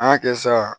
An y'a kɛ sa